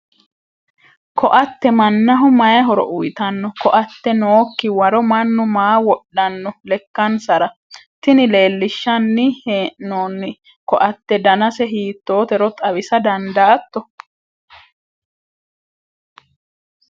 koatte mannaho mayi horo uyiitanno? koatte nookki waro mannu maa wodhanno lekkansara? tini leellinshanni hee'noonni koatte danase hiittootero xawisa dandaatto?